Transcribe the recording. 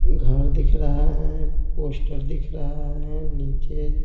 घर दिख रहा है पोस्टर दिख रहा है नीचे --